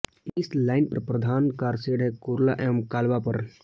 इस लाइन पर प्रधान कारशेड हैं कुर्ला एवं काल्वा पर